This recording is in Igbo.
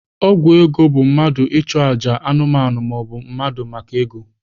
Ememe ego bụ mmadụ ma ọ bụ anụmanụ na-achụ àjà maka ego.